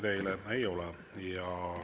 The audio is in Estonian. Küsimusi teile ei ole.